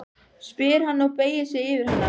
spyr hann og beygir sig yfir hana.